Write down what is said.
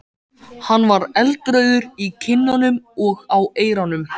Hann var eldrauður í kinnunum og á eyrunum.